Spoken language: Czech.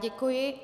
Děkuji.